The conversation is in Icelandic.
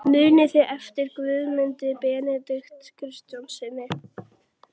Muniði eftir Guðmundi Benediktssyni?